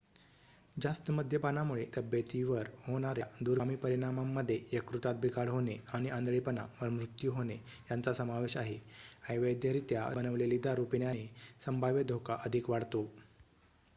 जास्त मद्यपानामुळे तब्येतीवर होणाऱ्या दूरगामी परिणामांमध्ये यकृतात बिघाड होणे आणि आंधळेपणा व मृत्यू होणे यांचा समावेश आहे अवैधरीत्या बनवलेली दारू पिण्याने संभाव्य धोका अधिक वाढतो